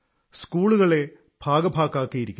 സ്കൂളുകളെ ഭാഗഭാക്കാക്കിയിരിക്കുന്നു